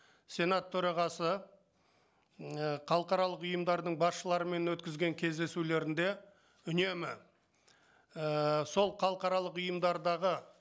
сенат төрағасы м ыыы халықаралық ұйымдардың басшыларымен өткізген кездесулерінде үнемі ііі сол халықаралық ұйымдардағы